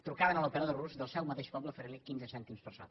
trucaven a l’operador rus del seu mateix poble oferint li quinze cèntims per sota